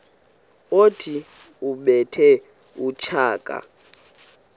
othi ubethe utshaka